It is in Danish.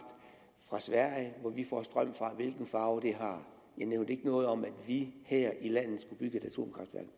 fra sverige hvor vi får strøm fra og hvilken farve det har jeg nævnte ikke noget om at vi her i landet skulle bygge et atomkraftværk